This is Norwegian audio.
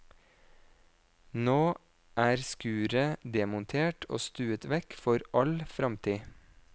Nå er skuret demontert og stuet vekk for all fremtid.